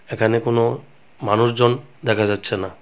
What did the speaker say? এখানে কোনও মানুষজন দেখা যাচ্ছে না।